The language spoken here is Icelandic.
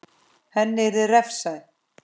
Henni yrði refsað.